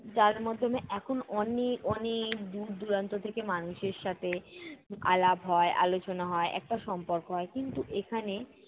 যার মাধ্যমে এখন অনেক অনেক দূর দূরান্ত থেকে মানুষের সাথে আলাপ হয় আলোচনা হয়, একটা সম্পর্ক হয়। কিন্তু এখানে